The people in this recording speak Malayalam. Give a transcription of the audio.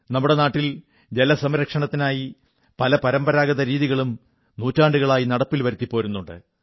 നമ്മുടെ നാട്ടിൽ ജലസംരക്ഷണത്തിനായി പല പരമ്പരാഗത രീതികളും നൂറ്റാണ്ടുകളായി നടപ്പിൽ വരുത്തി പോരുന്നുണ്ട്